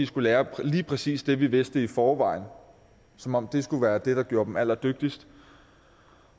skulle lære lige præcis det vi vidste i forvejen som om det skulle være det der gjorde dem allerdygtigst